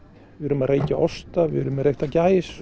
við erum að reykja osta við erum með reykta gæs